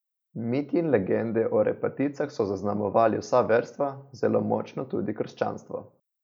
Miti in legende o repaticah so zaznamovali vsa verstva, zelo močno tudi krščanstvo.